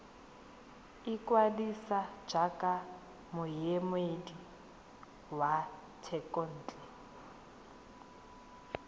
ikwadisa jaaka moemedi wa thekontle